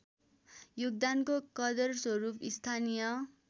योगदानको कदरस्वरूप स्थानीय